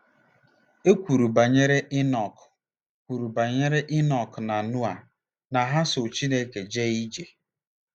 E kwuru banyere Inọk kwuru banyere Inọk na Noa na ha ‘so Chineke jee ije. '